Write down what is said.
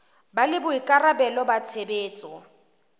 ba le boikarabelo ba tshebetso